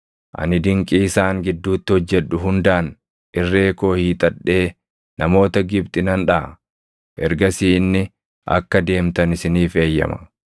Ani dinqii isaan gidduutti hojjedhu hundaan irree koo hiixadhee namoota Gibxi nan dhaʼa. Ergasii inni akka deemtan isiniif eeyyama.